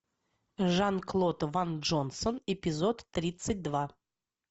жан клод ван джонсон эпизод тридцать два